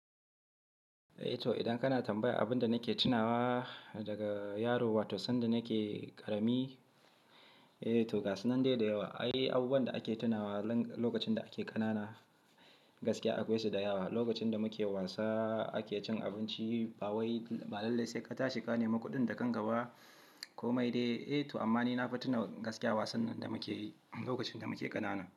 Eh to idan kana tambaya abin da nake tunawa daga yaro, wato sanda nake ƙarami, eh to gasu nan dai da yawa. Ai abubuwan da ake tunawa lokacin da ake ƙanana gaskiya akwai su da yawa. Lokacin da muke wasa, ake cin abinci, bawai, balalle sai ka tashi ka nemi kuɗin da kanka ba ko mai dai. Eh to amma ni na fahimta gaskiya wasan da muke yi lokacin da muke ƙanana.